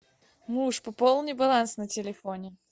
муж пополни баланс на телефоне